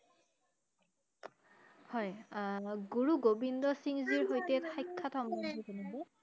হয় আহ গুৰু গোবিন্দ সিংহ জীৰ হৈতে সাক্ষাৎ জনাব